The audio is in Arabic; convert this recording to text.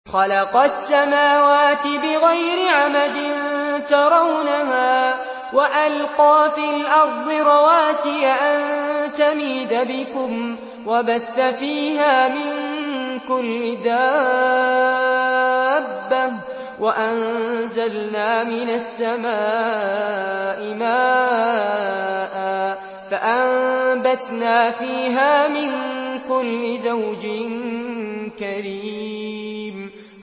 خَلَقَ السَّمَاوَاتِ بِغَيْرِ عَمَدٍ تَرَوْنَهَا ۖ وَأَلْقَىٰ فِي الْأَرْضِ رَوَاسِيَ أَن تَمِيدَ بِكُمْ وَبَثَّ فِيهَا مِن كُلِّ دَابَّةٍ ۚ وَأَنزَلْنَا مِنَ السَّمَاءِ مَاءً فَأَنبَتْنَا فِيهَا مِن كُلِّ زَوْجٍ كَرِيمٍ